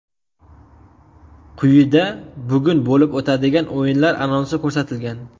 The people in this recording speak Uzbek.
Quyida bugun bo‘lib o‘tadigan o‘yinlar anonsi ko‘rsatilgan.